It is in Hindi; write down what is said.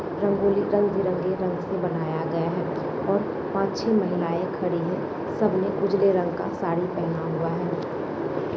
रंगोली रंग-बिरंगी रंग से बनाया गया है और पाँच छै महिलाएं खड़ी है सब ने उजले रंग का साड़ी पहना हुआ है।